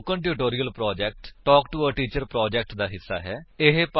spoken tutorial project talk to a teacher project ਦਾ ਹਿੱਸਾ ਹੈ